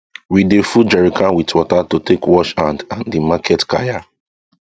we dey full jerrycan with water to take wash hand and the market kaya